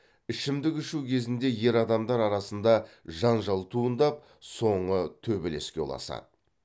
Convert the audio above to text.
ішімдік ішу кезінде ер адамдар арасында жанжал туындап соңы төбелеске ұласады